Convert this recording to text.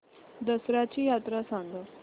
दसर्याची यात्रा सांगा